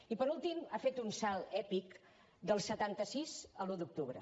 i per últim ha fet un salt èpic del setanta sis a l’un d’octubre